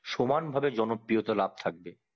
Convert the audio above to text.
সমান ভাবে জনপ্রিয়তা লাভ থাকবে